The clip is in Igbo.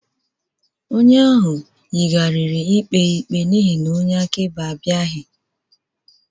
Onye ahụ yigharịrị ikpe ikpe n'ihi na onye akaebe abịaghị